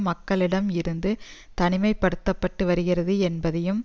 மக்களிடம் இருந்து தனிமை படுத்த பட்டு வருகிறது என்பதையும்